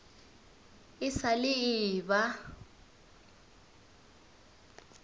e sa le e eba